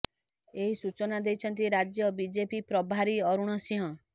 ଏହି ସୂଚନା ଦେଇଛନ୍ତି ରାଜ୍ୟ ବିଜେପି ପ୍ରଭାରୀ ଅରୁଣ ସିଂହ